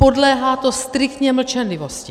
Podléhá to striktně mlčenlivosti.